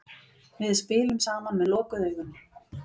Við spilum saman með lokuð augun.